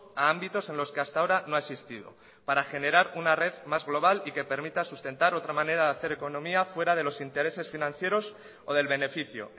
a ámbitos en los que hasta ahora no ha existido para generar una red más global y que permita sustentar otra manera de hacer economía fuera de los intereses financieros o del beneficio